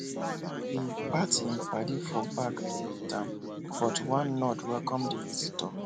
he pat him paddy for back to greet am but one nod welcome the visitor